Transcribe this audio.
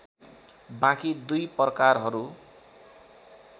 बाँकी दुई प्रकारहरू